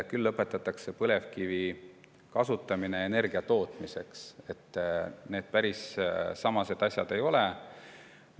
Küll lõpetatakse põlevkivi kasutamine energia tootmiseks, need päris samad asjad ei ole.